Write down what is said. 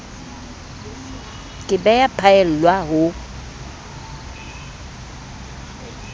ke be ya phaellwa ho